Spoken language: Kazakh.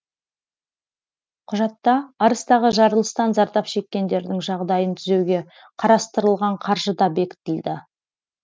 құжатта арыстағы жарылыстан зардап шеккендердің жағдайын түзеуге қарастырылған қаржы да бекітілді